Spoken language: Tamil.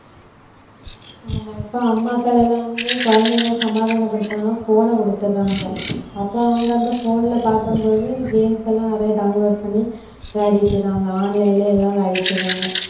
ஆமா இப்ப அம்மாக்கள் எல்லாம் வந்து குழந்தைகளை சமாதானப்படுத்தணும்னா phone ன கொடுத்திடறாங்க அப்போ அவங்க அந்த phone ல பார்க்கும் போது games எல்லாம் நிறைய download பண்ணி விளையாடிட்டு இருக்காங்க online ல எல்லாம் விளையாடிட்டு இருக்காங்க